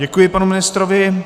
Děkuji panu ministrovi.